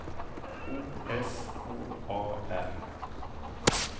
O S K A R